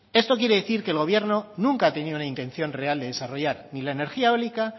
esto quiere decir que el gobierno nunca ha tenido una intención real de desarrollar ni la energía eólica